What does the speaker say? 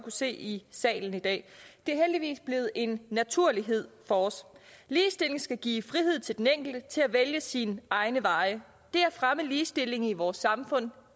se i salen i dag det er heldigvis blevet en naturlighed for os ligestilling skal give frihed til den enkelte til at vælge sine egne veje det at fremme ligestillingen i vores samfund